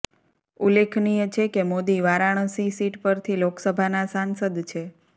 ઉલ્લેખનીય છે કે મોદી વારાણસી સીટ પરથી લોકસભાનાં સાંસદ છે